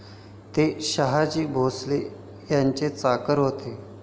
ते शहाजी भोसले यांचे चाकर होते.